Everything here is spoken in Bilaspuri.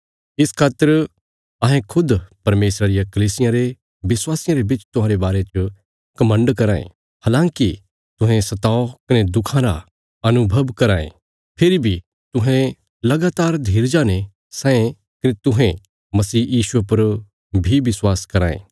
इस खातर अहें खुद परमेशरा रिया कलीसियां रे विश्वासियां रे बिच तुहांरे बारे च घमण्ड कराँ ये हलाँकि तुहें सताव कने दुखां रा अनुभव कराँ ये फेरी बी तुहें लगातार धीरजा ने सैंये कने हुण तुहें यीशु मसीह पर बी विश्वास कराँ ये